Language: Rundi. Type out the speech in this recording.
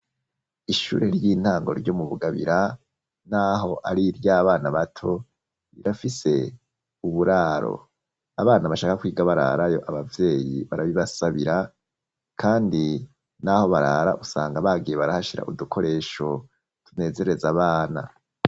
Ishure ry'intango ryo mu bugabira naho ari ry'abana bato rirafise uburaro abana bashaka kwiga bararayo abavyeyi barabibasabira kandi naho barara usanga bagiye barahashira udukoresho tunezereza abana.